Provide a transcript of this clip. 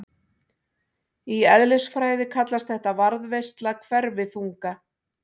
Í eðlisfræði kallast þetta varðveisla hverfiþunga.